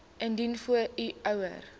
indien u ouer